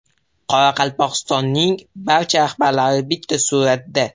Qoraqalpog‘istonning barcha rahbarlari bitta suratda.